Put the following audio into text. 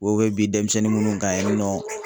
U bɛ bin demisɛnnin minnu kan yen nɔ